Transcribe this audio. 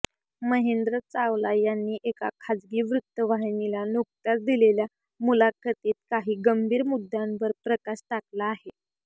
महेंद्र चावला यांनी एका खासगी वृत्तवाहिनीला नुकत्याच दिलेल्या मुलाखतीत काही गंभीर मुद्दांवर प्रकाश टाकला आहे